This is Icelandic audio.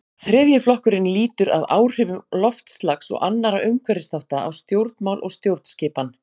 þriðji flokkurinn lýtur að áhrifum loftslags og annarra umhverfisþátta á stjórnmál og stjórnskipan